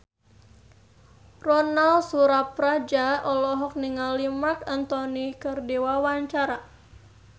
Ronal Surapradja olohok ningali Marc Anthony keur diwawancara